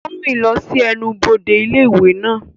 Ó ń rìn lọ sí ẹnubodè ilé ìwé náà.